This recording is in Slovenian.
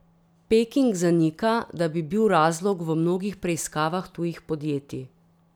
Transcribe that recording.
Peking zanika, da bi bil razlog v mnogih preiskavah tujih podjetij.